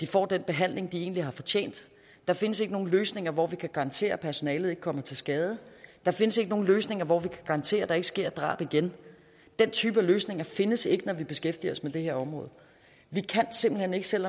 får den behandling de egentlig har fortjent der findes ikke nogen løsninger hvor vi kan garantere at personalet ikke kommer til skade der findes ikke nogen løsninger hvor vi kan garantere at der ikke sker et drab igen den type løsninger findes ikke når vi beskæftiger os med det her område vi kan simpelt hen ikke selv